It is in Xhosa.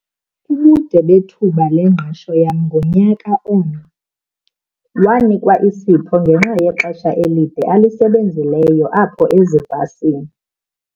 Ubude bethuba lengqesho yam ngunyaka omnye. wanikwa isipho ngenxa yexesha elide alisebenzileyo apho ezibhasini